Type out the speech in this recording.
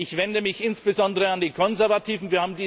Ich wende mich insbesondere an die Konservativen.